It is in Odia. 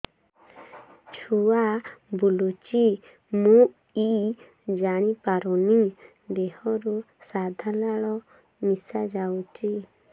ଛୁଆ ବୁଲୁଚି ମୁଇ ଜାଣିପାରୁନି ଦେହରୁ ସାଧା ଲାଳ ମିଶା ଯାଉଚି